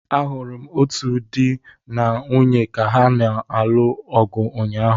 Ahụrụ m otu di na nwunye ka ha na-alụ ọgụ ụnyaahụ.